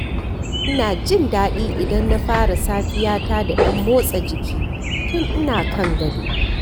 Ina jin daɗi idan na fara safiyata da ɗan motsa jiki tun ina kan gado.